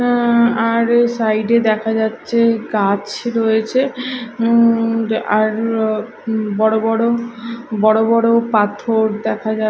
অ্যা আর সাইড -এ দেখা যাচ্ছে গাছ রয়েছে উঁম আর বড় বড় বড় বড় পাথর দেখা যা--